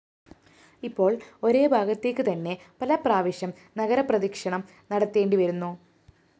ഇപ്പോള്‍ ഒരേഭാഗത്തേക്ക് തന്നെ പലപ്രാവശ്യം നഗരപ്രദക്ഷിണം നടത്തേണ്ടിവരുന്നു